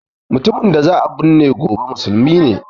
Mutumin da za a burne gobe musulmin